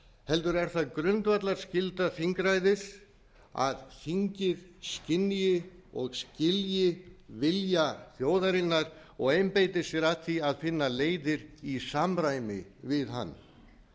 heldur er það grundvallarskylda þingræðis að þingið skynji og skilji vilja þjóðarinnar og einbeiti sér að því að finna leiðir í samræmi við hann